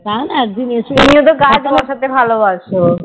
তুমি তো গাছ বসাতে ভালোবাসো